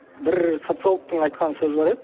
бір социологтың айтқан сөзі бар еді